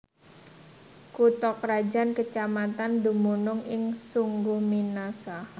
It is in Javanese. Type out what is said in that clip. Kutha krajan kecamatan dumunung ing Sungguminasa